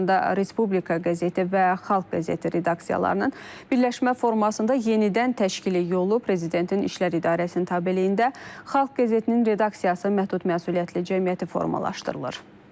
Eyni zamanda Respublika qəzeti və Xalq qəzeti redaksiyalarının birləşmə formasında yenidən təşkili yolu Prezidentin İşlər İdarəsinin tabeliyində Xalq qəzetinin redaksiyası məhdud məsuliyyətli cəmiyyəti formalaşdırılır.